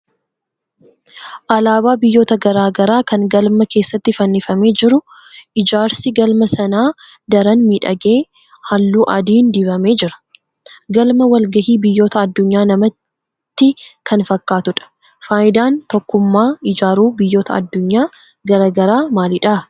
Alaabaa biyyoota garaa garaa kan galma keessa fannifamee jiru. Ijaarsi galma Sanaa daran miidhagee halluu adiin dibamee jira. Galma wal-gahii biyyoota addunyaa namatti kan fakkaatudha. Faayidaan tokkummaa ijaaruu biyyoota addunyaa garaa garaa maalidha?